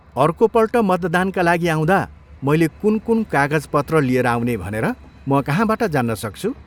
अर्कोपल्ट मतदानका लागि आउँदा मैले कुन कुन कागजपत्र लिएर आउने भनेर म कहाँबाट जान्न सक्छु?